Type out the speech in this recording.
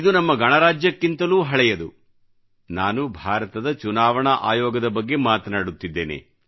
ಇದು ನಮ್ಮ ಗಣರಾಜ್ಯಕ್ಕಿಂತಲೂ ಹಳೆಯದು ನಾನು ಭಾರತದ ಚುನಾವಣಾ ಆಯೋಗದ ಬಗ್ಗೆ ಮಾತನಾಡುತ್ತಿದ್ದೇನೆ